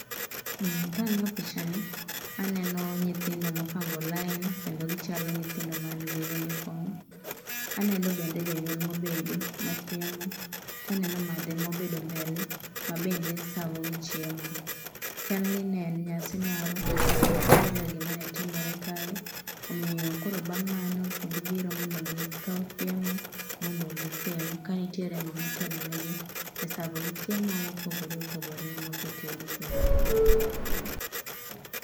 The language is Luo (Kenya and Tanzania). Kang'iyo picha ni to aneno nyithindo mopango laini kendo gichalo nyithindo man gi uniform. Aneno bende jonyuol mobedo machiemo to aneno [madhe]cs] mobedo mbele mabende savogichiemo. Chalni ne en nyasi moro kata nitie gima ne timore kae omiyo koro bang' mano, to gibiro mondo gikaw gichiemo mondo gichiem ka nitiere ng'ama otelo negi e savogi chiemo mopogore opogore mose tedi chutho.